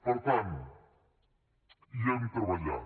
per tant hi hem treballat